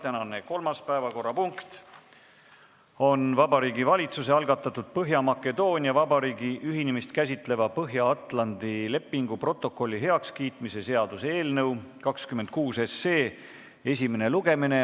Tänane kolmas päevakorrapunkt on Vabariigi Valitsuse algatatud Põhja-Makedoonia Vabariigi ühinemist käsitleva Põhja-Atlandi lepingu protokolli heakskiimise seaduse eelnõu 26 esimene lugemine.